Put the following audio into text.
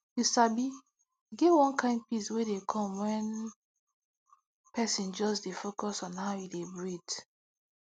you sabi e get one kind peace wey dey come when person just dey focus on how e dey breathe